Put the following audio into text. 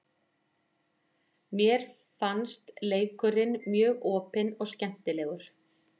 Mér fannst leikurinn mjög opinn og skemmtilegur.